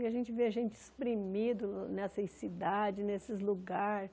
E a gente vê gente espremido nessas cidades, nesses lugares.